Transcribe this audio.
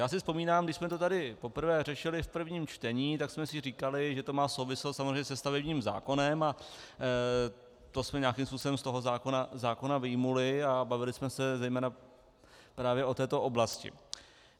Já si vzpomínám, když jsme to tady poprvé řešili v prvním čtení, tak jsme si říkali, že to má souvislost samozřejmě se stavebním zákonem, a to jsme nějakým způsobem z toho zákona vyjmuli a bavili jsme se zejména právě o této oblasti.